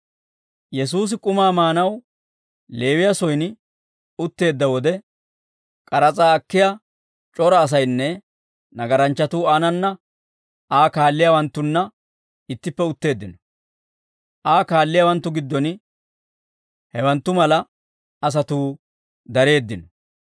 Yesuusi k'umaa maanaw Leewiyaa soyin utteedda wode, k'aras'aa akkiyaa c'ora asaynne nagaranchchatuu aanananne Aa kaalliyaawanttunna ittippe utteeddino. Aa kaalliyaawanttu giddon hewanttu mala asatuu dareeddino.